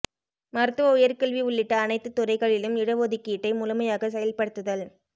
மருத்துவ உயர்கல்வி உள்ளிட்ட அனைத்துத் துறைகளிலும் இடஒதுக் கீட்டை முழுமையாக செயல்படுத்துதல்